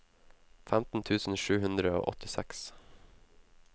femten tusen sju hundre og åttiseks